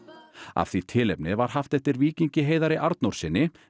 af því tilefni var haft eftir Víkingi Heiðari Arnórssyni